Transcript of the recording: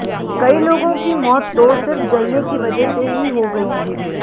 कई लोगों की मौत तो सिर्फ जलने की वजह से ही हो गई